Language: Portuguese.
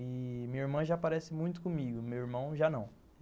E minha irmã já parece muito comigo, meu irmão já não.